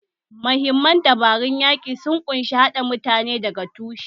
Mahimman dabarun yaƙin sun ƙunshi haɗa mutane daga tushe